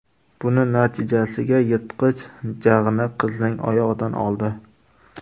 Buning natijasiga yirtqich jag‘ini qizning oyog‘idan oldi.